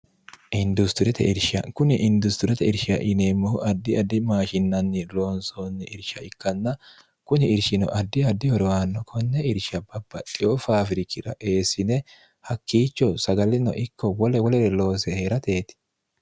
dskuni industirete irshia ineemmohu addi addi maashinanni roonsoonni irsha ikkanna kuni irshino addi addi horowaanno konne irshia babaxeyo faafirikira eessine hakkiicho sagalino ikko wole wolere loose hee'rateeti